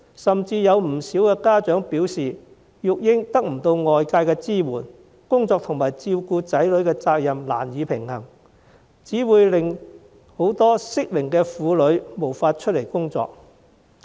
甚至有不少家長表示，育兒得不到外界支援，工作和照顧子女的責任難以平衡，這只會令很多適齡婦女無法出外工作。